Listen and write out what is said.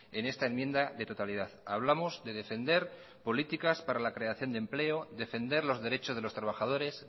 en esta enmienda de totalidad hablamos de defender políticas para la creación de empleo defender los derechos de los trabajadores